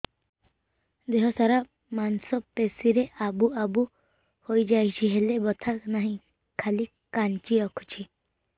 ଦେହ ସାରା ମାଂସ ପେଷି ରେ ଆବୁ ଆବୁ ହୋଇଯାଇଛି ହେଲେ ବଥା ନାହିଁ ଖାଲି କାଞ୍ଚି ରଖୁଛି